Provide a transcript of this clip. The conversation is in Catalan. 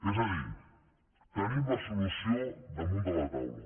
és a dir tenim la solució damunt de la taula